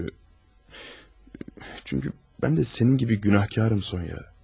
Çünki... çünki mən də sənin kimi günahkarım, Sonıya.